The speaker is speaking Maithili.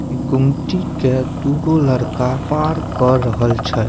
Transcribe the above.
इ गुमती के दू गो लड़का पार क रहल छै।